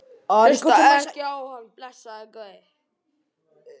Hlustaðu ekki á hann, blessaður góði.